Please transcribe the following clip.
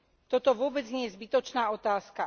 Toto vôbec nie je zbytočná otázka.